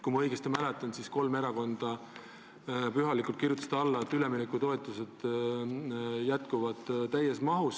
Kui ma õigesti mäletan, siis kolm erakonda pühalikult kirjutasid alla, et üleminekutoetused jätkuvad täies mahus.